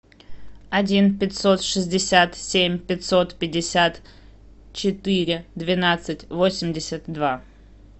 один пятьсот шестьдесят семь пятьсот пятьдесят четыре двенадцать восемьдесят два